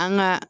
An ga